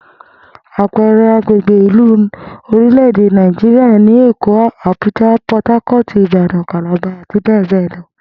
Àpe̩e̩re̩ agbègbè ìlú ní orílè̩-èdè Nàìjíríà ni Èkó, Abuja, Port Harcourt, Ìbàdàn, Calabar, àti bé̩è̩ bé̩è̩ lo̩